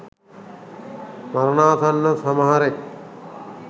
මරණාසන්න සමහරෙක්